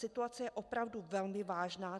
Situace je opravdu velmi vážná.